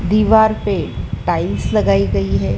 दीवार पे टाइल्स लगाई गई है।